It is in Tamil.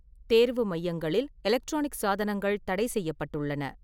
தேர்வு மையங்களில் எலக்ட்ரானிக் சாதனங்கள் தடைசெய்யப்பட்டுள்ளன.